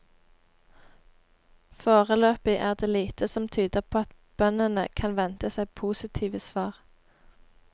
Foreløpig er det lite som tyder på at bøndene kan vente seg positive svar.